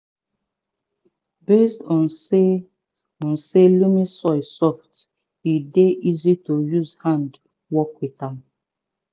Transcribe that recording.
based on say on say loamy soil soft e dey easy to use hand work with am